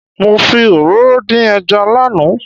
Mo fi òróró dín ẹja lánàá.